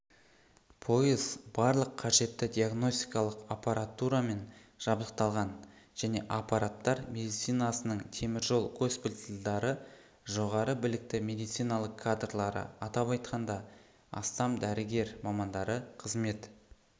пойыз барлық қажетті диагностикалық аппаратурамен жабдықталған және апаттар медицинасының теміржол госпитальдары жоғары білікті медициналық кадрлары атап айтқанда астам дәрігер мамандары қызмет